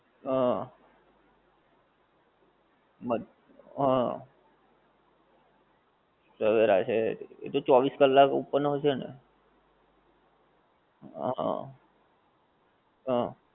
હા, હા, સવેરા છે એ તો ચૌવીશ ક્લાક open હોએ છે ને, હા હા